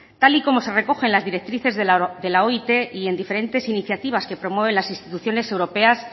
tal y como se recoge en las directrices de la oit y en diferentes iniciativas que promueven las instituciones europeas